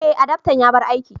Eh, adaftan ya bar aiki.